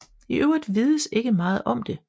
I øvrigt vides ikke meget om det